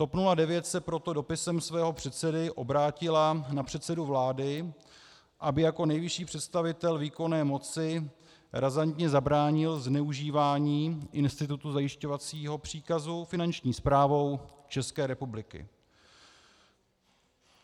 TOP 09 se proto dopisem svého předsedy obrátila na předsedu vlády, aby jako nejvyšší představitel výkonné moci razantně zabránil zneužívání institutu zajišťovacího příkazu Finanční správou České republiky.